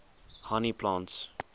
honey plants